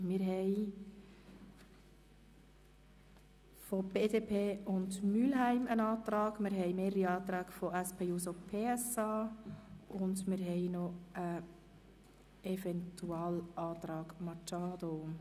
Wir haben einen Antrag BDP und Mühlheim, mehrere Anträge von der SP-JUSO-PSA-Fraktion sowie einen Eventualantrag Machado.